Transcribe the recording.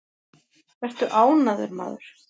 Vertu ánægður, maður!